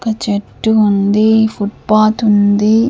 ఒక చెట్టు ఉంది ఫుట్ పాత్ ఉంది--